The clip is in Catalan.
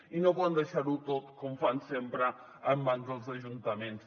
i no poden deixar ho tot com fan sempre en mans dels ajuntaments